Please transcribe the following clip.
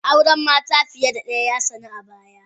Auren mata fiye da daya ya sanu a baya